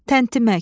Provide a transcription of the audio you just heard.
Təntimək,